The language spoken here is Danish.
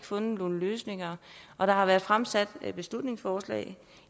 fundet nogen løsninger og der har været fremsat beslutningsforslag